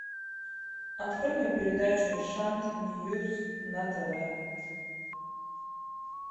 открой мне передачу шант ньюс на тв